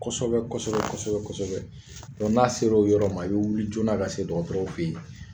Kosɛbɛ kosɛbɛ kosɛbɛ kosɛbɛ n'a sera o yɔrɔ ma i be wili jɔɔna ka se dɔgɔtɔrɔw fɛ yen